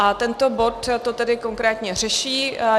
A tento bod to tedy konkrétně řeší.